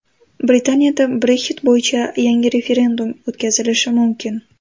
Britaniyada Brexit bo‘yicha yangi referendum o‘tkazilishi mumkin.